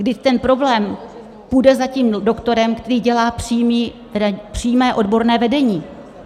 Vždyť ten problém půjde za tím doktorem, který dělá přímé odborné vedení.